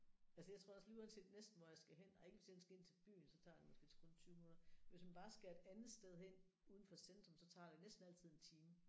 Altså jeg tror også lige uanset næsten hvor jeg skal hen nej ikke hvis jeg skal ind til byen så tager det måske kun 20 minutter men hvis man bare skal et andet sted hen uden for centrum så tager det næsten altid en time